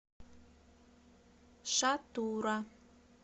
шатура